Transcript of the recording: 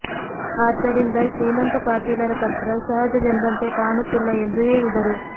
ಆದ್ದರಿಂದ ಶ್ರೀಮಂತ ಪಾಟೀಲ್ ರ ಪತ್ರ ಸಹಜವೆಂಬಂತೆ ಕಾಣುತ್ತಿಲ್ಲ ಎಂದು ಹೇಳಿದರು